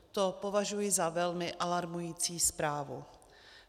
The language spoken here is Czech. To považuji za velmi alarmující zprávu.